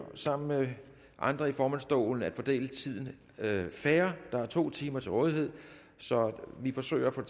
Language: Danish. sammen med andre i formandsstolen at fordele tiden fair der er to timer til rådighed så vi forsøger at få